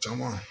Caman